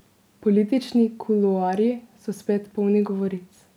Politični kuloarji so spet polni govoric.